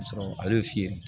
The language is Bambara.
Ka sɔrɔ ale y'o fiyɛ